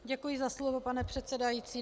Děkuji za slovo, pane předsedající.